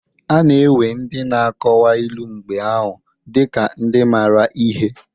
A na-ewe ndị n'akọwa ilu mgbe ahụ dị ka ndị maara ihe.